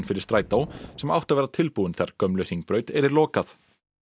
fyrir strætó sem átti að vera tilbúin þegar gömlu Hringbraut yrði lokað